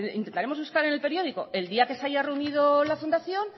intentaremos buscar en el periódico el día que se haya reunido la fundación